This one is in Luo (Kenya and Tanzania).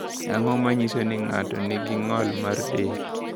Ang’o ma nyiso ni ng’ato nigi ng’ol mar del?